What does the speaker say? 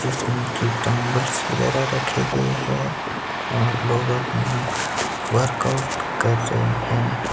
इसमें की डंबल्स वगैरा रखे गए हैं और लोग अपना वर्कआउट कर रहे हैं।